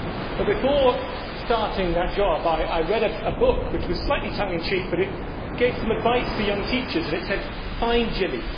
But before starting that job I read a book which was slightly tongue in check, but it gave some advice to young teachers and it said, Find Jimmy'.